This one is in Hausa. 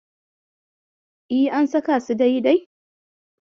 E, an saka su dai-dai?